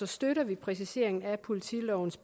støtter vi præciseringen af politilovens